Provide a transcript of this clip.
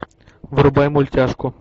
врубай мультяшку